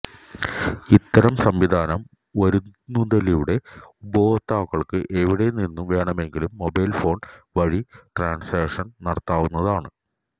ഇത്തരം സംവിധാനം വരുന്നതിലൂടെ ഉപയോക്താക്കള്ക്ക് എവിടെ നിന്നു വേണമെങ്കിലും മൊബൈല് ഫോണ് വഴി ട്രാന്സാക്ഷന് നടത്താവുന്നതാണ്